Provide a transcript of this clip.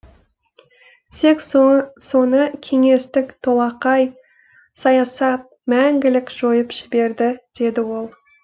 тек соны кеңестік солақай саясат мәңгілік жойып жіберді деді ол